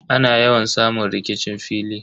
Ana yawan samun rikicin fili.